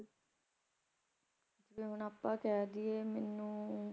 ਜਿਵੇਂ ਹੁਣ ਆਪਾ ਕਹਿ ਦਇਏ ਮੈਨੂੰ